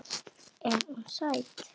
Er hún sæt?